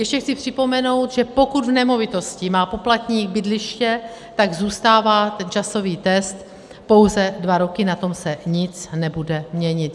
Ještě chci připomenout, že pokud v nemovitosti má poplatník bydliště, tak zůstává ten časový test pouze dva roky, na tom se nic nebude měnit.